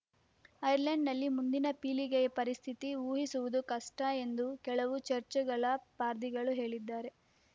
ಐರ್ಲೆಂಡ್‌ನಲ್ಲಿ ಮುಂದಿನ ಪೀಳಿಗೆಯ ಪರಿಸ್ಥಿತಿ ಊಹಿಸುವುದು ಕಷ್ಟಎಂದು ಕೆಲವು ಚರ್ಚೆಗಳ ಪಾರ್ದಿಗಳು ಹೇಳಿದ್ದಾರೆ